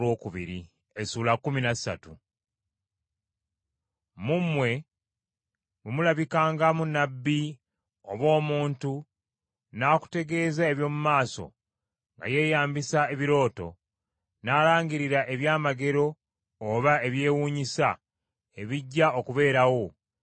Mu mmwe bwe mulabikangamu nnabbi oba omuntu n’akutegeeza eby’omu maaso nga yeeyambisa ebirooto, n’alangirira ebyamagero oba ebyewuunyisa ebijja okubeerawo,